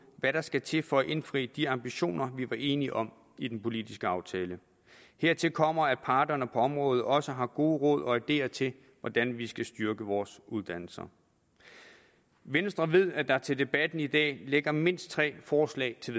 hvad der skal til for at indfri de ambitioner vi var enige om i den politiske aftale hertil kommer at parterne på området også har gode råd og ideer til hvordan vi skal styrke vores uddannelser venstre ved at der til debatten i dag ligger mindst tre forslag til